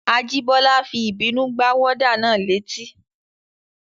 Ajíbọ́lá fi ìbínú gbá wọ́dà náà létí